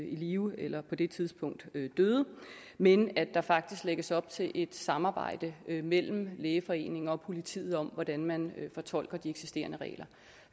i live eller på det tidspunkt døde men at der faktisk lægges op til et samarbejde mellem lægeforeningen og politiet om hvordan man fortolker de eksisterende regler